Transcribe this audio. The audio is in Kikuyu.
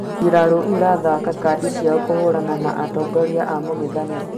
mbirarũ irathaka kadi ciao kũhũrana na atongoria a mũng'ethaniro